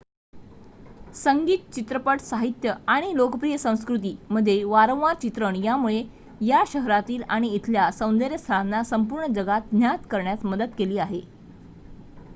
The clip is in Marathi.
संगीत चित्रपट साहित्य आणि लोकप्रिय संस्कृती मध्ये वारंवार चित्रण यामुळे या शहरातील आणि इथल्या सौंदर्य स्थळांना संपूर्ण जगात ज्ञात करण्यास मदत केली आहे